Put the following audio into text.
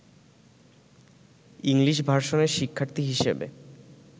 English ভার্সনের শিক্ষার্থী হিসেবে